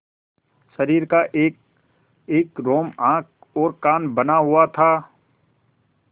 शरीर का एकएक रोम आँख और कान बना हुआ था